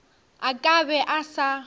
a ka be a sa